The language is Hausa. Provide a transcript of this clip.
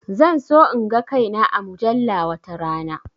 Zan so in ga kai na a mujalla watarana